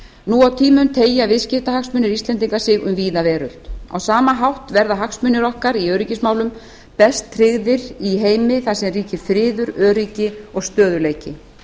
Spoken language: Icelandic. nú á tímum teygja viðskiptahagsmunir íslendinga sig um víða veröld á sama hátt verða hagsmunir okkar í öryggismálum best tryggðir í heimi þar sem ríkir friður öryggi og stöðugleiki